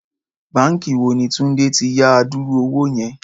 Báǹkì wo ni Túndé ti yá adúrú owó yẹn?